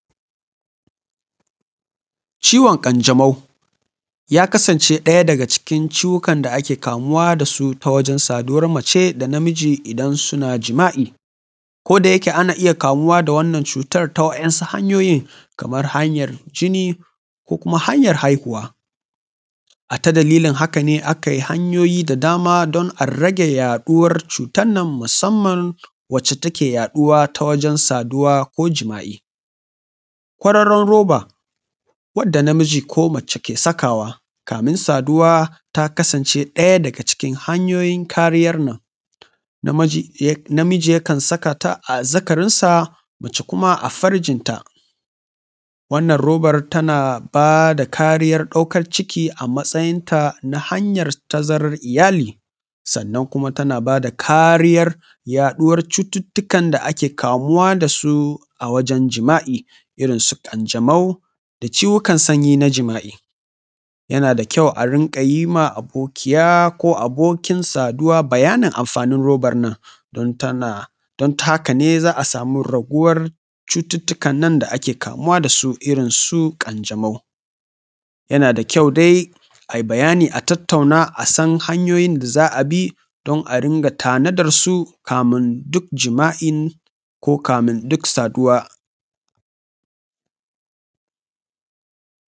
Ciwon ƙanjamau ya kasance ɗaya daga cikin ciwukan da ake kamuwa da su ta wajen saduwar mace da namiji idan suna jima’i. Ko-da-yake ana iya kamuwa da wannan cutar ta wa’in su hanyoyin kamar hanyar jini ko kuma hanyar haihuwa. A ta dalilin haka ne aka yi hanyoyi da dama don a rage yaɗuwar cutan nan musamman wacce take yaɗuwa ta wajen saduwa ko jima’i. Kwararon roba wanda namiji ko mace ke sakawa kamin saduwa ta kasance ɗaya daga cikin hanyoyin kariyar nan. Namiji ya kan saka ta a azzakarin sa mace kuma a farjin ta. Wannan robar tana bada kariyar ɗaukar ciki a matsayin ta na hanyar tazarar iyali, sannan kuma tana bada kariyar yaɗuwar cututtukan da ake kamuwa da su a wajen jima’i irin su ƙanjamau, da ciwukan sanyi na jima’i. Yana da kyau a rinƙa yi ma abokiya ko abokin saduwa bayanin amfanin roba nan don tana don ta haka ne za a samu raguwar cututtukan nan da ake kamuwa da su irin su ƙanjamau. Yana da kyau dai a yi bayani a tattauna a san hanyoyin da za a bi don a ringa tanadar su kamin duk jima’in ko kamin duk saduwa.